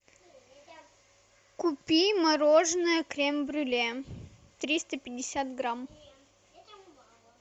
купи мороженое крем брюле триста пятьдесят грамм